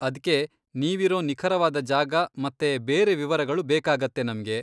ಅದ್ಕೆ ನೀವಿರೋ ನಿಖರವಾದ ಜಾಗ ಮತ್ತೆ ಬೇರೆ ವಿವರಗಳು ಬೇಕಾಗತ್ತೆ ನಮ್ಗೆ.